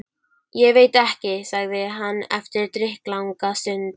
Ég veit ekki. sagði hann eftir drykklanga stund.